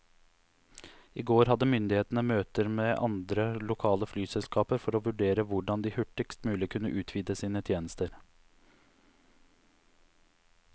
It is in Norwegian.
I går hadde myndighetene møter med andre lokale flyselskaper for å vurdere hvordan de hurtigst mulig kunne utvide sine tjenester.